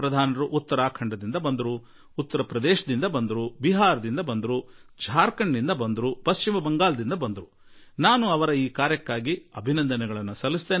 ಉತ್ತರಾಖಂಡದಿಂದ ಉತ್ತರ ಪ್ರದೇಶದಿಂದ ಬಿಹಾರದಿಂದ ಝಾರ್ಖಂಡ್ ನಿಂದ ಪಶ್ಚಿಮ ಬಂಗಾಳದಿಂದ ಬಂದ ಈ ಎಲ್ಲಾ ಗ್ರಾಮ ಪಂಚಾಯಿತಿ ಅಧ್ಯಕ್ಷರು ಕೈಗೊಂಡ ಸಂಕಲ್ಪಕ್ಕಾಗಿ ಇವರೆಲ್ಲರಿಗೂ ನಾನು ಅಭಿನಂದನೆ ತಿಳಿಸುವೆ